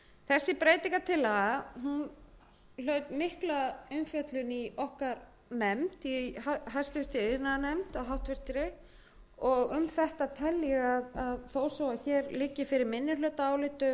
þessi breytingartillaga hlaut mikla umfjöllun í okkar nefnd í háttvirtri iðnaðarnefnd og um þetta tel ég að þó svo liggi fyrir minnihlutaálit